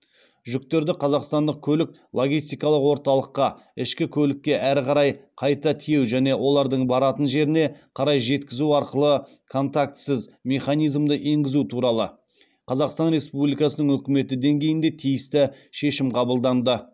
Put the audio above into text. жүктерді қазақстандық көлік логистикалық орталыққа ішкі көлікке әрі қарай қайта тиеу және олардың баратын жеріне қарай жеткізу арқылы контактісіз механизмді енгізу туралы қазақстан республикасының үкіметі деңгейінде тиісті шешім қабылданды